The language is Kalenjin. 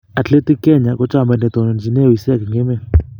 Athletics Kenya Ko chamait netonontochine wiseek eng emet.